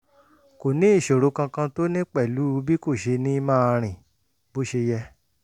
kò sí ìṣòro kankan tó ní pẹ̀lú bí kò ṣe ní máa rìn bó ṣe yẹ